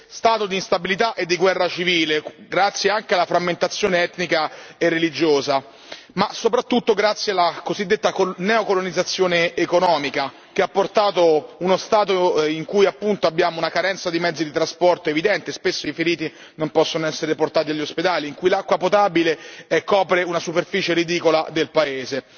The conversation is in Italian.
stato di instabilità e di guerra civile, grazie anche alla frammentazione etnica e religiosa, ma soprattutto grazie alla cosiddetta neocolonizzazione economica che ha portato uno stato in cui appunto abbiamo una carenza di mezzi di trasporto evidente, spesso i feriti non possono essere portati negli ospedali, in cui l'acqua potabile copre una superficie ridicola del paese.